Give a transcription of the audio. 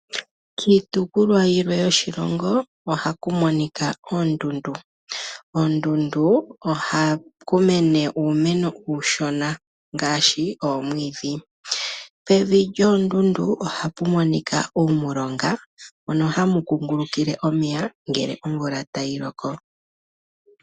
Kiitukulwa yilwe yoshilongo ohaku monika oondundu. Oondundu ohaku mene uumeno uushona ngaashi oomwiidhi, pevi lyoondundu ohapu monika uumulonga mono hamu kungulukile omeya ngele omvula tayi loko.